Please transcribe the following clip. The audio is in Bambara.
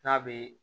N'a bɛ